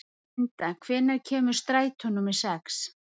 Belinda, hvenær kemur strætó númer sex?